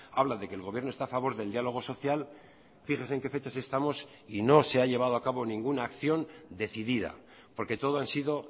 habla de que el gobierno está a favor del diálogo social fíjese en qué fechas estamos y no se ha llevado a cabo ninguna acción decidida porque todo han sido